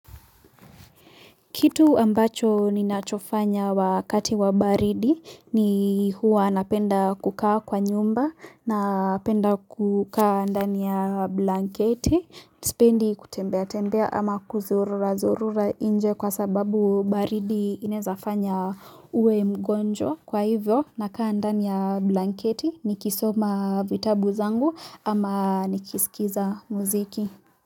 Kitu ambacho ninachofanya wakati wa baridi ni huwa napenda kukaa kwa nyumba napenda kukaa ndani ya blanketi, sipendi kutembea tembea ama kuzururazurura nje kwa sababu baridi inawezafanya uwe mgonjwa. Kwa hivyo, nakaa ndani ya blanketi ni kisoma vitabu zangu ama nikisikiza muziki.